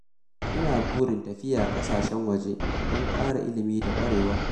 Ina burin tafiya kasashen waje don ƙara ilimi da ƙwarewa.